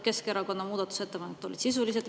Keskerakonna ettepanekud olid sisulised.